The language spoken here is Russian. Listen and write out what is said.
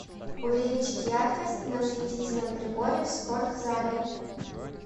увеличить яркость на осветительном приборе в спортзале